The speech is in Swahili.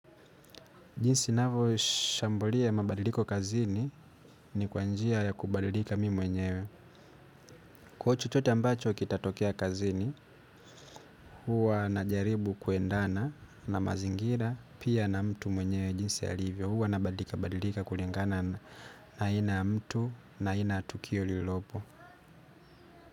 Jinsi ninavyoshambulia mabadiliko kazini ni kwa njia ya kubadilika mimi mwenyewe. Kwa chochote ambacho kitatokea kazini, huwa najaribu kuendana na mazingira pia na mtu mwenyewe jinsi alivyo. Huwa nabadilika badilika kulingana na aina ya mtu na aina ya tukio lililopo.